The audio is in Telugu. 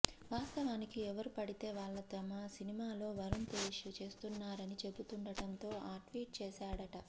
వాస్తవానికి ఎవరు పడితే వాళ్ల తమ సినిమాలో వరుణ్ తేజ చేస్తున్నారని చెబుతుండడంతో ఆ ట్వీట్ చేసాడట